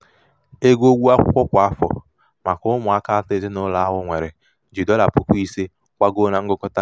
ego ụgwọ akwụkwọ kwa afọ maka ụmụaka atọ ezinaụlọ ahụ nwere ji dọla puku ise gbagoo na ngụkọta.